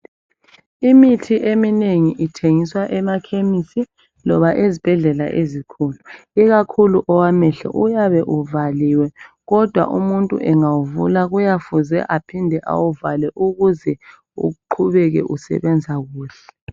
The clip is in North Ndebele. Imithi eminengi ithengiswa emakhemesi loba ezibhedlela ezikhulu ikakhulu owamehlo uyabe uvaliwe kodwa umuntu engawuvulankuyamele aohinde awuvale ukuze uqhubeke usebenza kuhle.